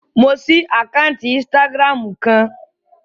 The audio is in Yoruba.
Mo ṣí àkáǹtì ínstágíráàmù kan